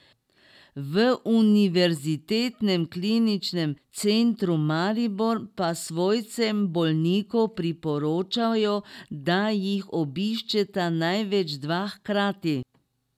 V Univerzitetnem kliničnem centru Maribor pa svojcem bolnikov priporočajo, da jih obiščeta največ dva hkrati.